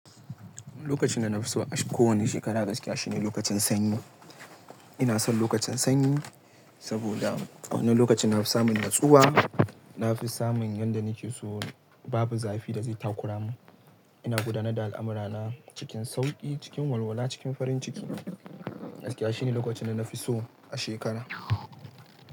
Lokacin da na fi so a kowane shekara gaskiya shine lokacin sanyi. Ina son lokacin sanyi, saboda a wannan lokacin na fi samun natsuwa, na fi samun yanda nake so babu zafi da zai takura mu. Ina gudanar da al'amura na cikin sauƙi, cikin walwala, cikin farin ciki. Gaskiya shine lokacin da na fi so a shekara.